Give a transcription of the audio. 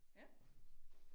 Ja